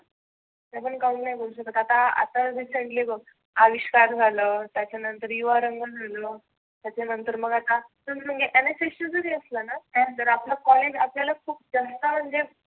आपण count नाही करु शकत. आता आता recently बघ आयुष्मान झालं, त्याच्यानंतर युवा रंग झालं, त्याच्या नंतर आता NSS च जरी असला ना त्यात जर आपल कॉलेज खुप जास्त म्हणजे